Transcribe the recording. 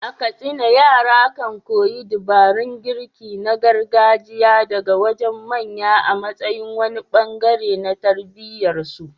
A Katsina, yara kan koyi dabarun girki na gargajiya daga wajen manya a matsayin wani bangare na tarbiyyar su.